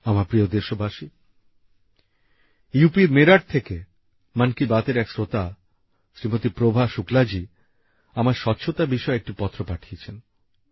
আমার প্রিয় দেশবাসী ইউ পির মেরঠ থেকে মন কি বাত এর এক শ্রোতা শ্রীমতী প্রভা শুক্লাজি আমায় স্বচ্ছতা বিষয়ে একটি পত্র পাঠিয়েছেন